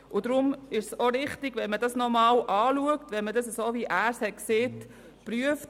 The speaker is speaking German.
Deshalb ist es auch richtig, wenn man diesen, wie es Grossrat Haas gesagt hat, überprüft.